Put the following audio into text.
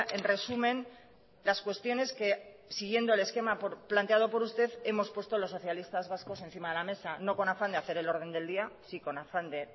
en resumen las cuestiones que siguiendo el esquema planteado por usted hemos puesto los socialistas vascos encima de la mesa no con afán de hacer el orden del día sí con afán de